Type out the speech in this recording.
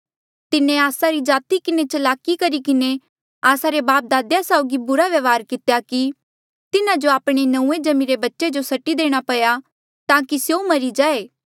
तिन्हें आस्सा री जाति किन्हें चलाकी करी किन्हें आस्सा रे बापदादा साउगी बुरा व्यवहार कितेया कि तिन्हा जो आपणे नऊँए जम्मिरे बच्चे जो सट्टी देणा पया ताकि स्यों मरी जाये